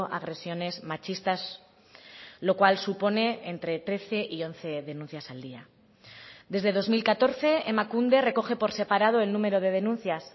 agresiones machistas lo cual supone entre trece y once denuncias al día desde dos mil catorce emakunde recoge por separado el número de denuncias